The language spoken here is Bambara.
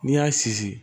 N'i y'a sinsin